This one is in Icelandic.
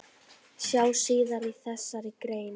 Sjá síðar í þessari grein.